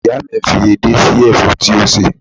Ìyá mi fi edé sí ẹ̀fọ́ tí ó sè